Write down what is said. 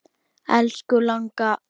Elsku langa.